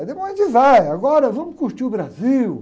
Depois a gente vai, agora vamos curtir o Brasil.